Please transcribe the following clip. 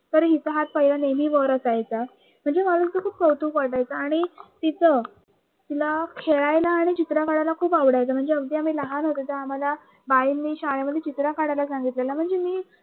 तरी चाहात नेहमी वर असायचा खूप कौतुक वाटायचं आणि तिच तिला खेळायला आणि चित्र काढायला खूप आवडायचे म्हणजे आम्ही अगदी लहान होत त आम्हाला बाईनी श्याळेमधे चित्र काढायला सांगतले